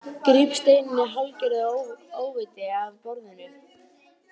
Gríp steininn í hálfgerðu óviti af borðinu.